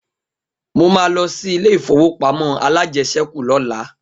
Mo ma lọ sí ilé ìfowópamọ́ alájẹsẹ́kù lọ́la